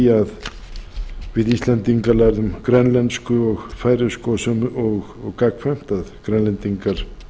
að við íslendingar lærðum grænlensku og færeysku og gagnkvæmt að grænlendingar